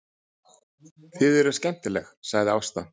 Þið eruð skemmtileg, sagði Ásta.